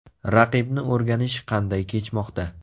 Raqibni o‘rganish qanday kechmoqda?